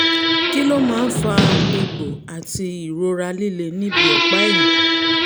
kí ló máa ń fa egbò àti ìrora líle níbi ọ̀pá-ẹ̀yìn?